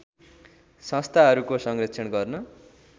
संस्थाहरूको संरक्षण गर्न